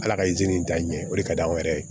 Ala ka izini ja ɲɛ o de ka di anw yɛrɛ ye